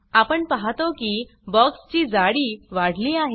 आपण पाहतो की बॉक्स ची जाडी वाढली आहे